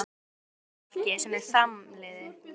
Álfar geta tengst fólki sem er framliðið.